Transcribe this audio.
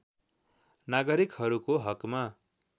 नागरिकहरूको हकमा